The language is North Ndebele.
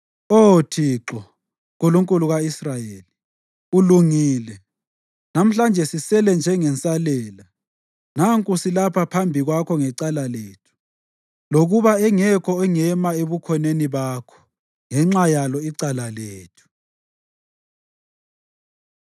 Oh Thixo, Nkulunkulu ka-Israyeli, ulungile! Namhlanje sisele njengensalela. Nanku silapha phambi kwakho ngecala lethu, lokuba engekho ongema ebukhoneni bakho ngenxa yalo icala lethu.”